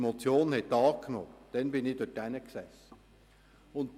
Der Antragsteller hat noch einmal das Wort.